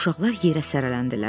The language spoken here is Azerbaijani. Uşaqlar yerə sərələndilər.